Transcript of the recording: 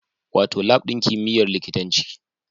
Wato Lab ɗin kimiyyar likitanci